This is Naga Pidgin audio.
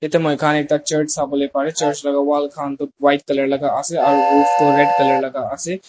Yate moikhan ekta church sabole parey church laga wall khan toh white colour laga ase aro roof toh red colour laga ase.